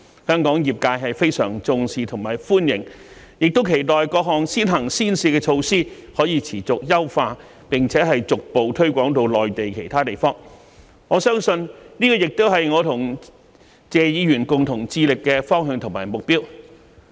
香港業界對此非常重視和歡迎，亦期待各項先行先試的措施可持續優化，並逐步推廣至內地其他地方，相信這亦是我和謝議員共同致力達到的方向和目標。